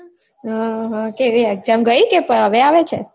ઉહ કે હવે exam ગઈ કે હવે આવે છે